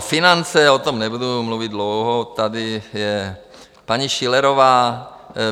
A finance, o tom nebudu mluvit dlouho, tady je paní Schillerová.